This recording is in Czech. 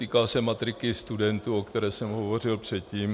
Týká se matriky studentů, o které jsem hovořil předtím.